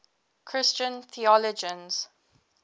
christian theologians